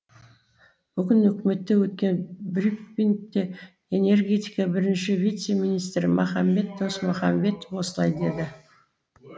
бүгін үкіметте өткен брифингте энергетика бірінші вице министрі махамбет досмұхамбетов осылай деді